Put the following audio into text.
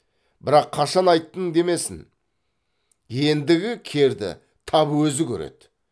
бірақ қашан айттың демесін ендігі керді тап өзі көреді